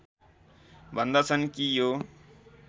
भन्दछन् कि यो